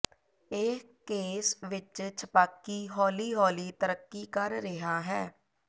ਇਹ ਕੇਸ ਵਿਚ ਛਪਾਕੀ ਹੌਲੀ ਹੌਲੀ ਤਰੱਕੀ ਕਰ ਰਿਹਾ ਹੈ